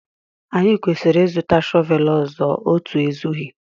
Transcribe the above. Anyị kwesịrị ịzụta shọvel ọzọ, otu ezughị